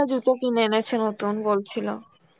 কিনে এনেছে নতুন বলছিল.